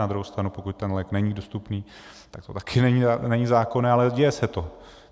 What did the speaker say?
Na druhou stranu pokud ten lék není dostupný, tak to také není zákonné, ale děje se to.